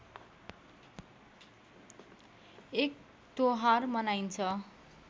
एक त्‍यौहार मनाइन्छ